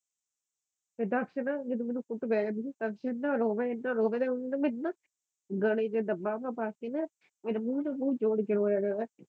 ਤੇ ਦਸ ਨਾ ਜਦੋ ਮੈਨੂੰ ਕੁੱਟ ਪੈ ਜਾਂਦੀ ਫਿਰ ਇਹਨਾਂ ਰੋਵਾ ਇਹਨਾਂ ਰੋਵਾ ਤੇ ਓਦੇ ਨਾ ਮੈਨੂੰ ਨਾ ਗਲੇ ਚ ਬਾਹਾਂ ਪਾ ਕੇ ਨਾ ਮੇਰੇ ਮੂੰਹ ਨਾ ਜ਼ੋਰ ਕੇ ਰੋਇਆ ਕਰਾ।